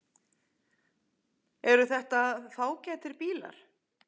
Eru þetta fágætir bílar?